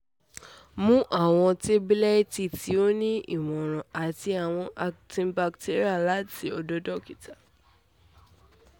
mu awọn tabulẹti ti o ni imọran ati awọn antibacterial labẹ akiyesi dokita